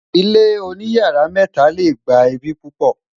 ilé oní yàrá mẹta lẹ gbà ẹbi pupo